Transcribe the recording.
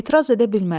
Etiraz edə bilmədim.